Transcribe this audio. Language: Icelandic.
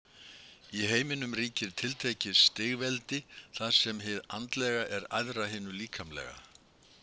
Í heiminum ríkir tiltekið stigveldi þar sem hið andlega er æðra hinu líkamlega.